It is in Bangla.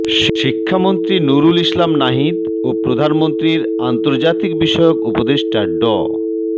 শিক্ষা মন্ত্রী নুরুল ইসলাম নাহিদ ও প্রধানমন্ত্রীর আন্তর্জাতিক বিষয়ক উপদেষ্টা ড